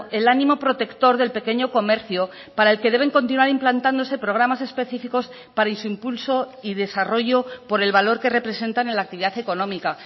el ánimo protector del pequeño comercio para el que deben continuar implantándose programas específicos para su impulso y desarrollo por el valor que representan en la actividad económica